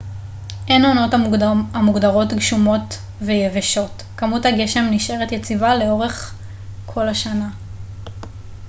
אין עונות המוגדרות גשומות ו יבשות כמות הגשם נשארת יציבה לכל אורך השנה